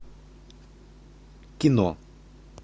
кино